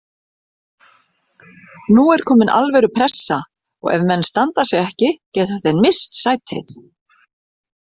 Nú er komin alvöru pressa og ef menn standa sig ekki geta þeir misst sætið.